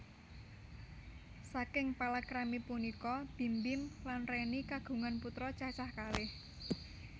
Saking palakrami punika Bim Bim lan Reny kagungan putra cacah kalih